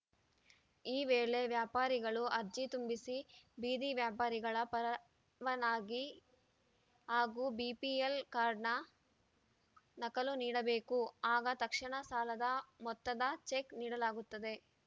ಈ ವೇಳೆ ವ್ಯಾಪಾರಿಗಳು ಅರ್ಜಿ ತುಂಬಿಸಿ ಬೀದಿ ವ್ಯಾಪಾರಿಗಳ ಪರವಾನಗಿ ಹಾಗೂ ಬಿಪಿಎಲ್‌ ಕಾರ್ಡ್‌ನ ನಕಲು ನೀಡಬೇಕು ಆಗ ತಕ್ಷಣ ಸಾಲದ ಮೊತ್ತದ ಚೆಕ್‌ ನೀಡಲಾಗುತ್ತದೆ